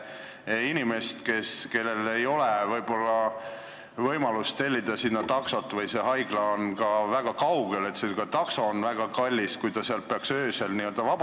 On inimesi, kellel ei ole võimalust tellida taksot või on haigla väga kaugel, takso aga väga kallis, kui see üldse peaks öösel vabanema.